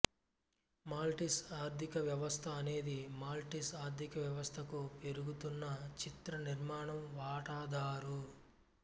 Maltese ఆర్థికవ్యవస్థ అనేది Maltese ఆర్థికవ్యవస్థకు పెరుగుతున్న చిత్రనిర్మాణం వాటాదారు